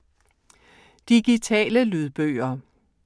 Digitale lydbøger